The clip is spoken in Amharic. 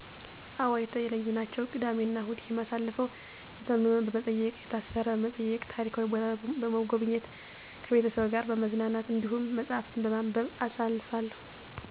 አዎ የተለዩ ናቸው። ቅዳሜ እናሁድ የማሳልፈው የታመመ በመጠየቅ፣ የታሰረ በመጠየቅ፣ ታሪካዊ ቦታ በሞጎብኘት፣ ከቤተሰቤ ጋር በመዝናናት፣ እንዲሁም መፀሀፍትን በማንበብ አሳልፋለሁ።